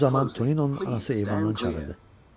Bu zaman Toninonun anası eyvandan çağırdı.